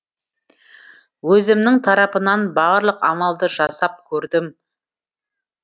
өзімнің тарапымнан барлық амалды жасап көрдім